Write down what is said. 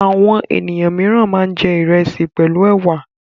Àwọn ènìyàn mìíràn máa ń jẹ ìrẹsì pẹ̀lú ẹ̀wà.